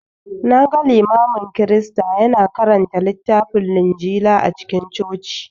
Na ga Limamin Kirista ya na karanta littafin Linjila a cikin Coci